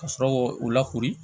Ka sɔrɔ k'o lakori